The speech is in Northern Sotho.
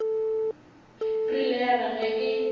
rile ya re ge e